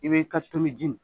I b'i ka turuji